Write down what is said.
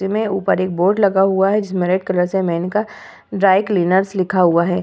जिनमें ऊपर एक बोर्ड लगा हुवा है जिसमें एक रेड कलर से मेनका ड्राई क्लीनर्स लिखा हुवा है।